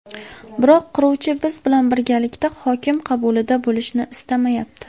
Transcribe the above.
Biroq quruvchi biz bilan birgalikda hokim qabulida bo‘lishni istamayapti.